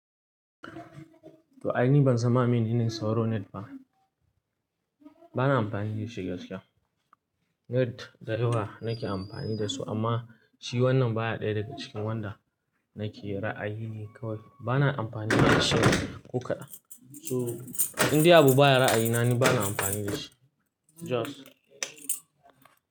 To aini ban sanma mai nene sauro net ba. Bana amfani da shi gaskiya. Net da 4 nake amfani da su amma shi wannan baya ɗaya daga cikin wanda nake ra'ayine kawai. Bana amfani da shi ko kaɗan. So in dai abu baya ra'ayina ni bana amfani da shi. Just.